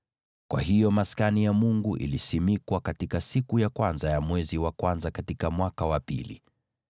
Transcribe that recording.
Kwa hiyo Maskani ya Mungu ilisimikwa katika siku ya kwanza ya mwezi wa kwanza, katika mwaka wa pili.